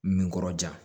Min kɔrɔ ja